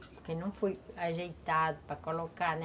Porque não foi ajeitado para colocar, né?